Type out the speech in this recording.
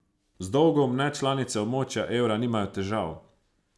Z dolgom nečlanice območja evra nimajo težav.